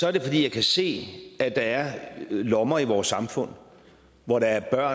er det fordi jeg kan se at der er lommer i vores samfund hvor der er